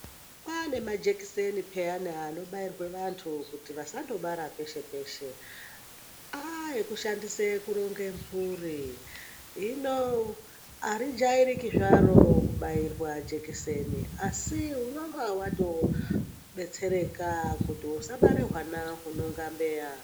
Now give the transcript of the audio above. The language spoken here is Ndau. Kwane majekideni phiyani anobairwe vantu kuti vasandobara peshe peshe. Aekushandise kuronge mburi. Hino harijairiki zvaro kubairwa jekiseni asi unonga watobetsereka kuti usabare hwana hunonga mbeya.